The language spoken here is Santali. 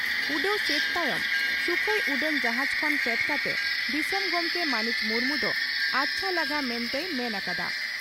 ᱩᱰᱟᱹᱣ ᱥᱟᱹᱛ ᱛᱟᱭᱚᱢ ᱥᱩᱠᱷᱚᱭ ᱩᱰᱟᱹᱱ ᱡᱟᱦᱟᱡᱽ ᱠᱷᱚᱱ ᱯᱷᱮᱰ ᱠᱟᱛᱮ ᱫᱤᱥᱚᱢ ᱜᱚᱢᱠᱮ ᱢᱟᱹᱱᱤᱡ ᱢᱩᱨᱢᱩ ᱫᱚ "ᱟᱪᱷᱟ ᱞᱟᱜᱟ" ᱢᱮᱱᱛᱮᱭ ᱢᱮᱱ ᱟᱠᱟᱫᱼᱟ ᱾